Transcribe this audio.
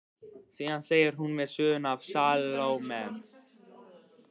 Síðan segir hún mér söguna af Salóme.